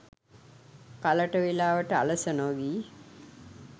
කලට වෙලාවට, අලස නොවී